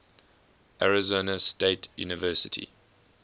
arizona state university